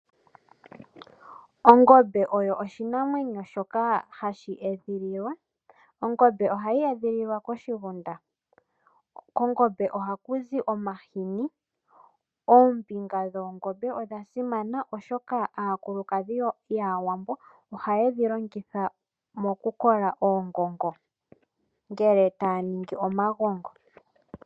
Ongombe oyo oshinamwenyo shoka hashi edhililwa. Ongombe ohayi edhililwa koshigunda. Kongombe ohaku zi omahini. Ooniga dhoongombe odha simana oshoka aakulukadhi yAawambo ohaye dhi longitha mokukola oongongo, ngele taa ningi omagongo.